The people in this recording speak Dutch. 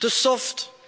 Te soft